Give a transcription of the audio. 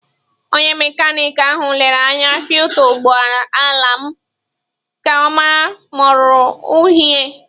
Onye mekaniki ahụ lere anya filta ụgbọ ala m ka ọ mara ma ọ ruru unyi.